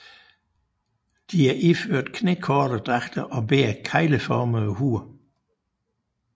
De er iført knækorte dragter og bærer kegleformede huer